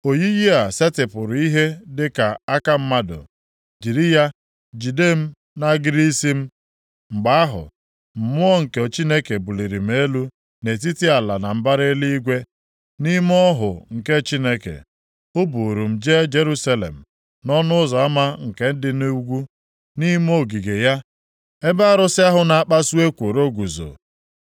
Oyiyi a setịpụrụ ihe dịka aka mmadụ, jiri ya jide m nʼagịrị isi m. Mgbe ahụ, Mmụọ nke Chineke buliri m elu nʼetiti ala na mbara eluigwe. Nʼime ọhụ nke Chineke, o buuru m jee Jerusalem, nʼọnụ ụzọ ama nke dị nʼugwu, nʼime ogige ya, ebe arụsị ahụ na-akpasu ekworo guzo.